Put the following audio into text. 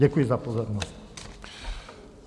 Děkuji za pozornost.